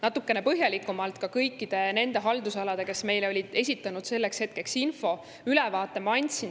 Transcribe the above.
Natukene põhjalikumalt andsin ma ülevaate ka kõikidest nendest haldusaladest, mille kohta meile selleks hetkeks info oli esitatud.